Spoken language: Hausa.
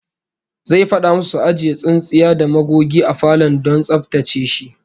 Zai fada musu su ajiye tsintsiya da magogi a falon don tsaftace shi